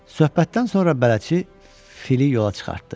Söhbətdən sonra bələdçi fili yola çıxartdı.